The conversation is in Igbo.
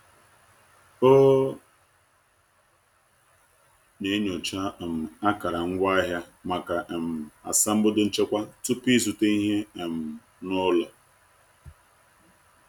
O na-enyocha um akara ngwaahịa maka um asambodo nchekwa tupu ịzụta ihe um n’ụlọ.